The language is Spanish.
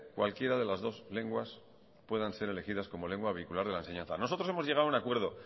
cualquiera de las dos lenguas puedan ser elegidas como lengua vehicular de la enseñanza nosotros hemos llegado a un acuerdo